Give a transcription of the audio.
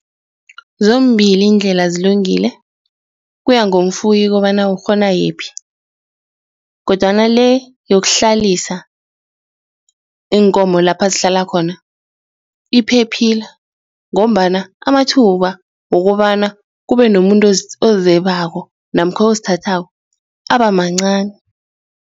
Zombili indlela zilungele kuya ngomfuyi kobana ukghona yiphi kodwana-le yokuhlalisa iinkomo lapha zihlala khona iphephile ngombana amathuba wokobana kube nomuntu ozebeka namkha ozithathaka abamancani.